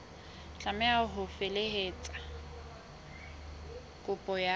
tlameha ho felehetsa kopo ka